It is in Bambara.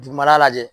Dugumala lajɛ